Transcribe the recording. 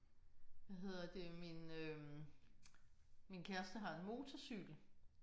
Hvad hedder det min øh min kæreste har en motorcykel